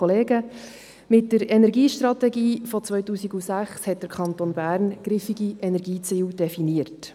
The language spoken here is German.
Mit der Energiestrategie von 2006 hat der Kanton Bern griffige Energieziele definiert.